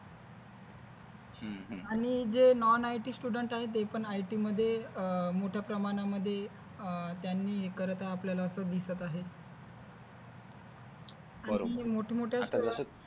आणि जे non IT student जे आहेत ते पण IT मध्ये मोठ्या प्रमाणामध्ये त्यांनी हे करताना आपल्याला दिसत आहे